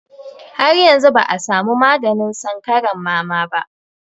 Har yanzu ba a samu maganin sankaran mama ba.